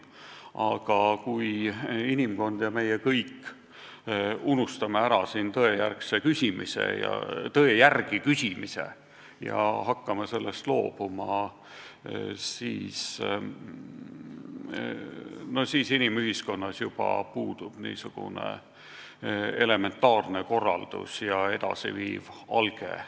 Ent kui meie ja kogu inimkond unustame ära tõe järgi küsimise ja hakkame sellest loobuma, siis inimühiskonnas juba puudub niisugune elementaarne korraldus ja edasi viiv alge.